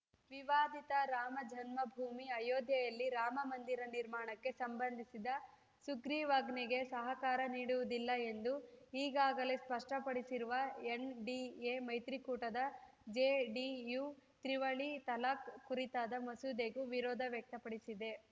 ವಿವಾದಿತ ರಾಮ ಜನ್ಮಭೂಮಿ ಅಯೋಧ್ಯೆಯಲ್ಲಿ ರಾಮ ಮಂದಿರ ನಿರ್ಮಾಣಕ್ಕೆ ಸಂಬಂಧಿಸಿದ ಸುಗ್ರೀವಾಜ್ಞೆಗೆ ಸಹಕಾರ ನೀಡುವುದಿಲ್ಲ ಎಂದು ಈಗಾಗಲೇ ಸ್ಪಷ್ಟಪಡಿಸಿರುವ ಎನ್‌ಡಿಎ ಮೈತ್ರಿಕೂಟದ ಜೆಡಿಯು ತ್ರಿವಳಿ ತಲಾಖ್‌ ಕುರಿತಾದ ಮಸೂದೆಗೂ ವಿರೋಧ ವ್ಯಕ್ತಪಡಿಸಿದೆ